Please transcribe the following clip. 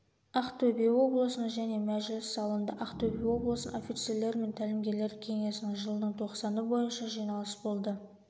ақтөбе облысының және мәжіліс залында ақтөбе облысының офицерлер мен тәлімгерлер кеңесінің жылдың тоқсаны бойынша жиналыс болды